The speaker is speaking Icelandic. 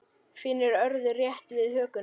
Finnur örðu rétt við hökuna.